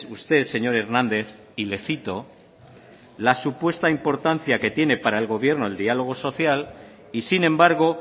usted señor hernández y le cito la supuesto importancia que tiene para el gobierno el diálogo social y sin embargo